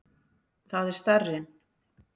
Það er starrinn.